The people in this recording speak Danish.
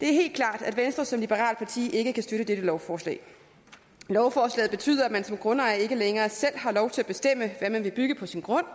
det er helt klart at venstre som liberalt parti ikke kan støtte dette lovforslag lovforslaget betyder at man som grundejer ikke længere selv har lov til at bestemme hvad man vil bygge på sin grund